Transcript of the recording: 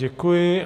Děkuji.